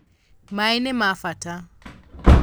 Mai nimabata